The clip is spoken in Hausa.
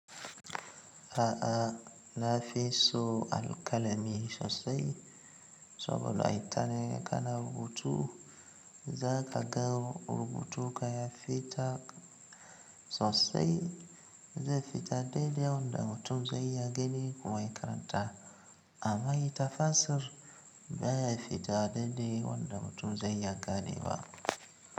A'a, na fi so alkalami sosai saboda ita ne kana rubutu, za ka ga rubutun ka ya fita sosai, zai fita daidai wanda mutum zai iya gani kuma ya karanta. Amma ita fasir ba ya fita daidai wanda mutum zai iya gane ba.